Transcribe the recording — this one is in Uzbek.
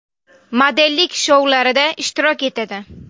Modellik shoularida ishtirok etadi.